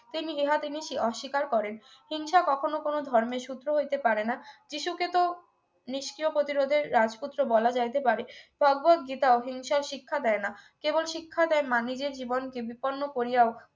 তিনি ইহা তিনি অস্বীকার করেন হিংসা কখনো কোন ধর্মের সূত্র হইতে পারে না যীশুকে তো নিষ্ক্রিয় প্রতিরোধের রাজপুত্র বলা যাইতে পারে ভগবত গীতা ও হিংসার শিক্ষা দেয় না কেবল শিক্ষা দেয় মানুষের জীবনকে বিপন্ন করিয়াও